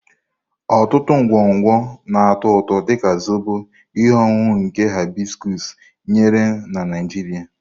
Ọtụtụ ngwongwo na-atọ ụtọ, dị ka Zobo, ihe ọṅụṅụ nke hibiscus nyere na Nigeria.